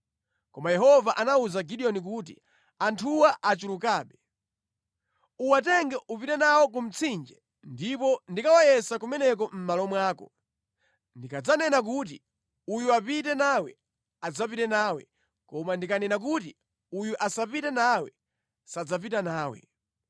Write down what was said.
Koma Yehova anawuza Gideoni kuti, “Anthuwa achulukabe. Uwatenge upite nawo ku mtsinje ndipo ndikawayesa kumeneko mʼmalo mwako. Ndikadzanena kuti, ‘Uyu apite nawe’ adzapita nawe; koma ndikanena kuti ‘Uyu asapite nawe,’ sadzapita nawe.”